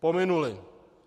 Pominuly.